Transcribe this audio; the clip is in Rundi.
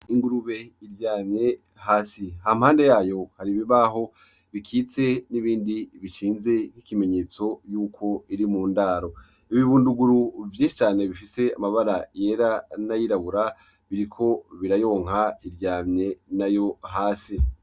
Ingurube iryamye hasi ha mpande yayo hari ibibaho bikitse n'ibindi bicinze nk'ikimenyetso yuko iri mu ndaro ibibunduguru vye cane bifise amabara yera nayirabura biriko birayonka iryamye na yo hasi.